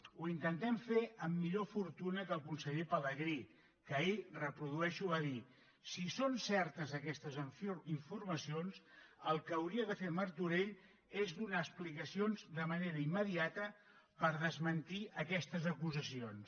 ho intentem fer amb millor fortuna que el conseller pelegrí que ahir ho reprodueixo va dir si són certes aquestes informacions el que hauria de fer martorell és donar explicacions de manera immediata per desmentir aquestes acusacions